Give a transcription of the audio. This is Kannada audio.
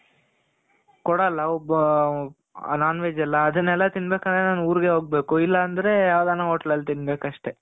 ಕೊಡಲ್ಲ ಒಬ್ಬ. non-veg ಎಲ್ಲಾ ತಿನ್ಬೇಕು ಅಂದ್ರೆ ನಾನು ಊರಿಗೆ ಹೋಗ್ಬೇಕು. ಇಲ್ಲ ಅಂದ್ರೆ ಯಾವ್ದನ hotel ಅಲ್ಲಿ ತಿನ್ಬೇಕು ಅಷ್ಟೆ.